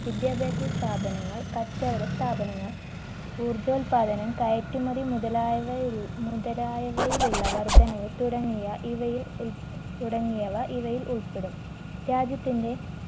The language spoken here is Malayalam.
വിദ്യാഭ്യാസ സ്ഥാപനങ്ങൾ കച്ചവട സ്ഥാപനങ്ങൾ ഊർജോല്പാദനം കയറ്റുമതി മുതലായവയിലു മുതലായവയിലുള്ള വർദ്ധനവ് തുടങ്ങിയ ഇവയിൽ ഉൽ തുടങ്ങിയവ ഇവയിൽ ഉൾപ്പെടും രാജ്യത്തിൻറെ